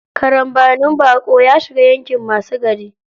Karambanin baƙo, ya shiga yaƙin masu gari.